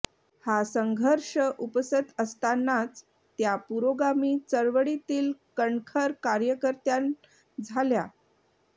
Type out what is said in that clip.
हा संघर्ष उपसत असतानाच त्या पुरोगामी चळवळीतील कणखर कार्यकर्त्यां झाल्या